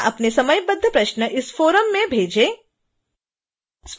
कृपया अपने समयबद्ध प्रश्न इस फ़ोरम में भेजें